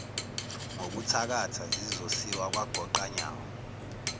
ngokuthakatha zizosiwa kwagoqanyawo